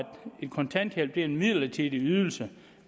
kontanthjælp er en midlertidig ydelse